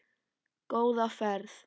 Góða ferð,